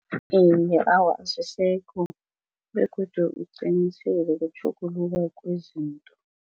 Awa, azisekho begodu uqinisele kutjhuguluka kwezinto.